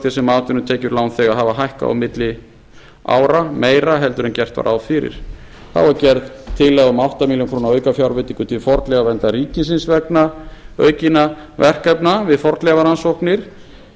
þess sem atvinnutekjur lánþega hafa hækkað á milli ára meira en gert var ráð fyrir þá er gerð tillaga um átta milljónir króna aukafjárveitingu til fornleifaverndar ríkisins vegna aukinna verkefna við fornleifarannsóknir